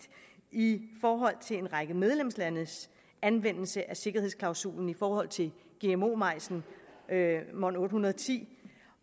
i forhold til en række medlemslandes anvendelse af sikkerhedsklausulen i forhold til gmo majsen mon810